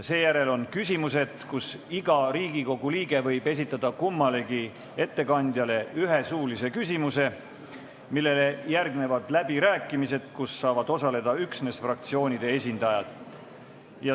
Seejärel tuleb küsimustevoor, kus iga Riigikogu liige võib esitada kummalegi ettekandjale ühe suulise küsimuse, ja sellele järgnevad läbirääkimised, milles saavad osaleda üksnes fraktsioonide esindajad.